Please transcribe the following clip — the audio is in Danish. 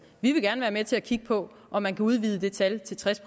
vi vil gerne være med til at kigge på om man kan udvide det tal til tres